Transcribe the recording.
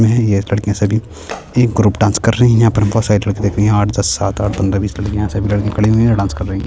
में है ये लड़किया सभी एक ग्रुप डांस कर रही है यहाँ पर बहुत सारे लड़की देखो यहाँ आठ दस सात आठ पंद्रह बीस लड़कियां खड़ी हुई हैं डांस कर रही हैं।